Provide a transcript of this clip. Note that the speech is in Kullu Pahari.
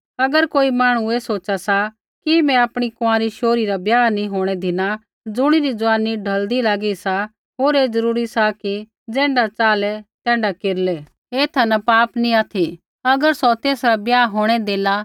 अगर कोई मांहणु ऐ सोचा सा कि मैं आपणी कुँआरी शोहरी रा ब्याह नैंई होंणै धिना ज़ुणिरी जुआनी ढौलदी लागी सा होर ऐ जरूरी सा कि ज़ैण्ढा च़ाहलै तैण्ढा केरलै ऐथा न पाप नी ऑथि अगर सौ तेसरा ब्याह होंणै देला